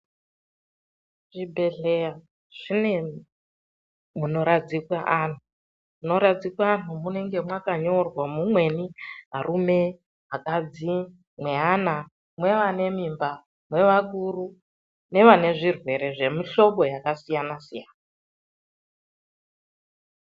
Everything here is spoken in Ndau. Zvibhedhleya zvine munoradzikwe antu, munorsdzikwe antu munenge makanyorwa mumweni arume, akadzi, mweana mweane mimba, mweakuru uye mweane zvirwere zvemuhlobo yakasiyana siyana.